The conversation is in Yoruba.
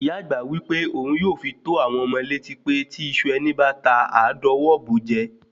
Ìyá àgbà wí pé ohun yóò fi tó àwọn ọmọ létí pé tí iṣu ẹni báta àá dọwọ́ bo jẹ́